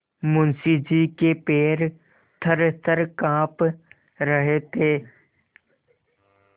मुंशी जी के पैर थरथर कॉँप रहे थे